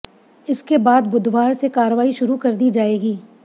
इसके बाद बुधवार से कार्रवाई शुरू कर दी जाएगी